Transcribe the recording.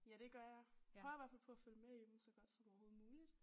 Ja det gør jeg prøver i hvert fald på at følge med i dem så godt som overhovedet muligt